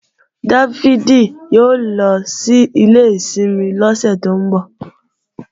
Dáfídì ó lọ sílé ìsinmi lọ́sẹ̀ tó ń bọ̀